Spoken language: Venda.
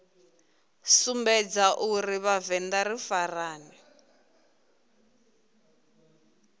sumbedza uri vhavenḓa ri farane